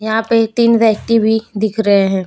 यहां पे तीन व्यक्ति भी दिख रहे हैं।